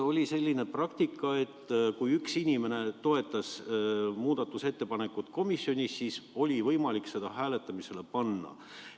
Oli ka selline praktika, et kui üks inimene toetas komisjonis muudatusettepanekut, siis oli võimalik see hääletamisele panna.